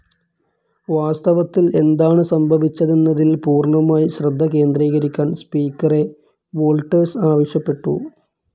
വാസ്തവത്തിൽ എന്താണ് സംഭവിച്ചതെന്നതിൽ പൂർണ്ണമായി ശ്രദ്ധ കേന്ദ്രീകരിക്കാൻ സ്പീക്കറെ വോൾട്ടേഴ്സ് ആവശ്യപ്പെട്ടു.